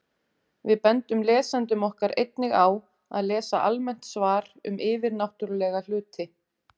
Við bendum lesendum okkar einnig á að lesa almennt svar um yfirnáttúrulega hluti.